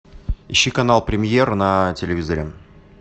ищи канал премьер на телевизоре